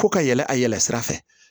Ko ka yɛlɛ a yɛlɛ sira fɛ